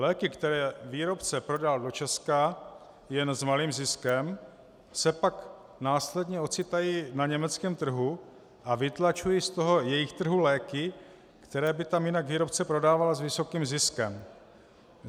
Léky, které výrobce prodá do Česka jen s malým ziskem, se pak následně ocitají na německém trhu a vytlačují z toho jejich trhu léky, které by tam jinak výrobce prodával s vysokým ziskem.